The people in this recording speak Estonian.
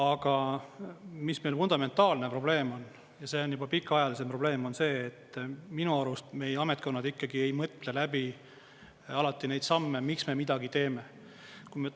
Aga mis meil fundamentaalne probleem on, ja see on juba pikaajalisem probleem, on see, et minu arust meie ametkonnad ei mõtle läbi alati neid samme, miks me midagi teeme?